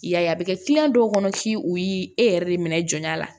I y'a ye a bɛ kɛ dɔw kɔnɔ f'i u y'i e yɛrɛ de minɛ jɔnya la